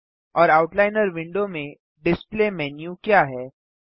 और outliner window में display menu क्या है